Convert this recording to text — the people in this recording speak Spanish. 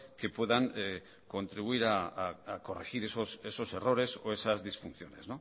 que puedan contribuir a corregir esos errores o esas disfunciones